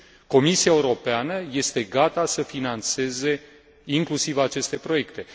Comisia Europeană este gata să finanțeze inclusiv aceste proiecte.